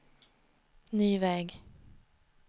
ny väg